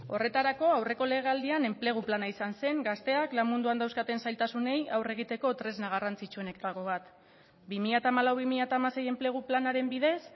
horretarako aurreko legealdian enplegu plana izan zen gazteak lan munduan dauzkaten zailtasunei aurre egiteko tresna garrantzitsuenetako bat bi mila hamalau bi mila hamasei enplegu planaren bidez